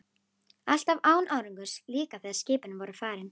Alltaf án árangurs, líka þegar skipin voru farin.